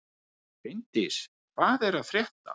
Finndís, hvað er að frétta?